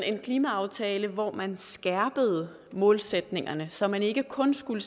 en klimaaftale hvor man skærpede målsætningerne så man ikke kun skulle